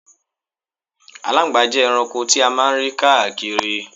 Aláńgbàá jẹ́ ẹranko ti a máa ń rí káàkiri.